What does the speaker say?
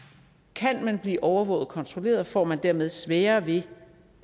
kan man blive overvåget og kontrolleret får man dermed sværere ved